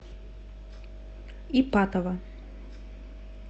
ипатово